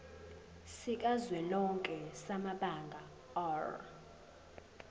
sikazwelonke samabanga r